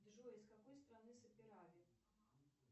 джой из какой страны сапирави